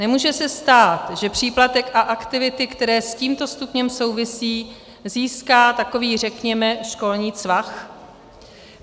Nemůže se stát, že příplatek a aktivity, které s tímto stupněm souvisejí, získá takový, řekněme, školní Cvach?